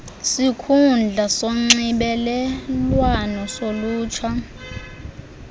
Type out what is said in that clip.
sikhundla sonxibelelwano solutsha